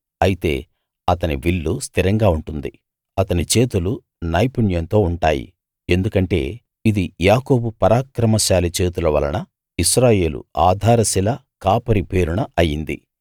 అయితే అతని విల్లు స్థిరంగా ఉంటుంది అతని చేతులు నైపుణ్యంతో ఉంటాయి ఎందుకంటే ఇది యాకోబు పరాక్రమశాలి చేతుల వలన ఇశ్రాయేలు ఆధార శిల కాపరి పేరున అయింది